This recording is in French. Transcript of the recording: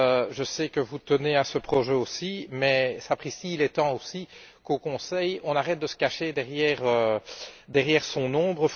Je sais que vous tenez à ce projet aussi mais, sapristi, il est temps aussi qu'au Conseil, on arrête de se cacher derrière son ombre.